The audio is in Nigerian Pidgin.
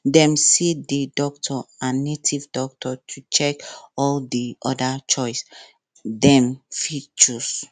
dem see the doctor and native doctor to check all di other choice dem fit choose